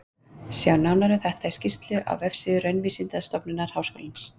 Sjá nánar um þetta í þessari skýrslu á vefsíðu Raunvísindastofnunar Háskólans.